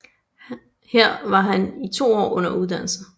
Her var han i to år under uddannelse